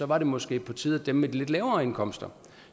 var det måske på tide at dem med de lidt lavere indkomster